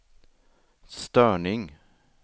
störning